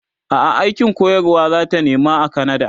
a'a aikin koyarwa zata nema a kanada